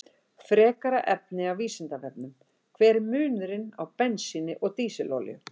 Frekara lesefni af Vísindavefnum: Hver er munurinn á bensíni og dísilolíu?